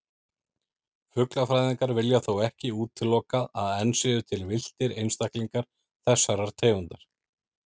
Fuglafræðingar vilja þó ekki útilokað að enn séu til villtir einstaklingar þessarar tegundar.